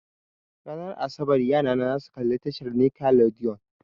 Ranar asabar yarana zasu kalla tashar nickelodeon.